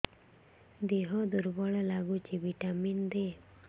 ଦିହ ଦୁର୍ବଳ ଲାଗୁଛି ଭିଟାମିନ ଦେ